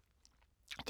DR K